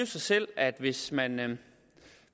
sig selv at hvis man